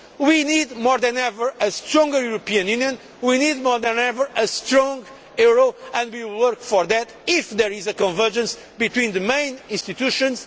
We need, more than ever, a stronger European Union we need more than ever a strong euro and we will work for that if there is convergence between the main institutions.